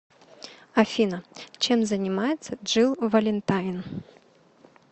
афина чем занимается джилл валентайн